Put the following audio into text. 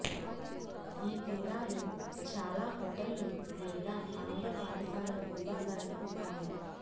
ఈ తీరాలు చాలా హోటళ్ళు లేదా ఆంగ్ల పాఠశాలల భూభాగాల్లో ఉన్నాయి